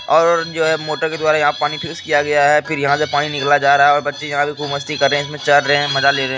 और जो है मोटर के द्वारा यहाँ पानी फ्रीज किया गया है फिर यहाँ से पानी निकला जा रहा है और बच्चे यहाँ पे खूब मस्ती कर रहे हैं इसमें चढ़ रहे हैं मजा ले रहे --